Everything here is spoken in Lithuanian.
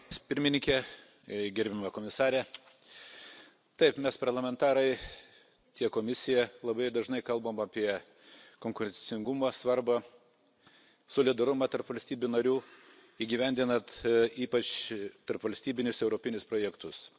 Taip, mes, parlamentarai, tiek Komisija labai dažnai kalbam apie konkurencingumą, svarbą, solidarumą tarp valstybių narių įgyvendinant ypač tarpvalstybinius europinius projektus.